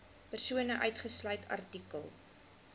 persone uitgesluit artikel